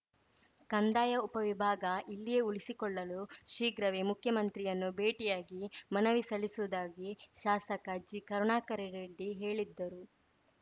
ಕಂದಾಯ ಉಪವಿಭಾಗ ಇಲ್ಲಿಯೆ ಉಳಿಸಿಕೊಳ್ಳಲು ಶೀಘ್ರವೇ ಮುಖ್ಯಮಂತ್ರಿಯನ್ನು ಭೇಟಿಯಾಗಿ ಮನವಿ ಸಲ್ಲಿಸುವುದಾಗಿ ಶಾಸಕ ಜಿಕರುಣಾಕರರೆಡ್ಡಿ ಹೇಳಿದ್ಧರು